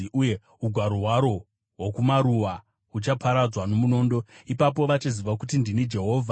uye ugaro hwaro hwokumaruwa huchaparadzwa nomunondo. Ipapo vachaziva kuti ndini Jehovha.